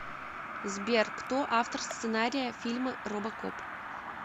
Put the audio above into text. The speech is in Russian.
сбер кто автор сценария фильма робокоп